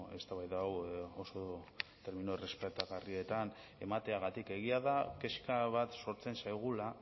eztabaida hau oso termino errespetagarrietan emateagatik egia da kezka bat sortzen zaigula